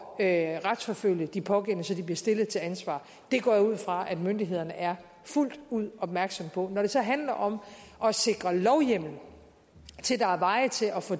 at retsforfølge de pågældende så de bliver stillet til ansvar det går jeg ud fra myndighederne er fuldt ud opmærksomme på når det så handler om at sikre lovhjemmel til at der er veje til at få